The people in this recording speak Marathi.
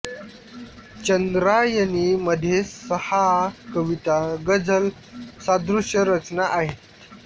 चंद्रायणी मध्ये सहा कविता गझल सादृश्य रचना आहेत